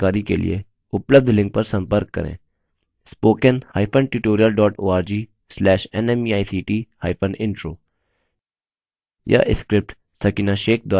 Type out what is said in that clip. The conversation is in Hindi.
इस mission पर अधिक जानकारी के लिए उपलब्ध लिंक पर संपर्क करें